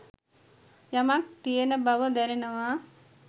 යමක් තියෙන බව දැනෙනවා.